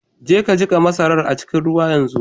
Jeka ka jiƙa masarar a cikin ruwa yanzu!